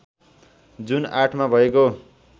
जुन ८ मा भएको